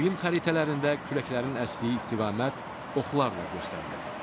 İqlim xəritələrində küləklərin əsdiyi istiqamət oxlarla göstərilir.